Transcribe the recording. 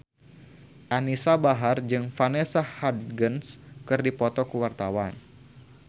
Anisa Bahar jeung Vanessa Hudgens keur dipoto ku wartawan